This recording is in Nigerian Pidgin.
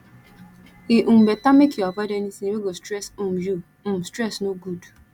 e um beta make you avoid anytin wey go stress um you um stress no good